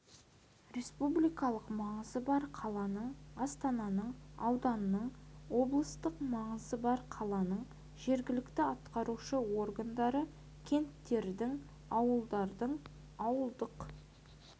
республикалық маңызы бар қаланың астананың ауданның облыстық маңызы бар қаланың жергілікті атқарушы органдары кенттердің ауылдардың ауылдық